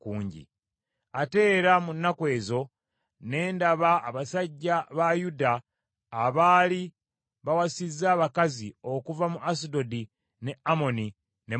Ate era mu nnaku ezo, ne ndaba abasajja ba Yuda abaali bawasizza abakazi okuva mu Asudodi, ne Amoni, ne Mowaabu.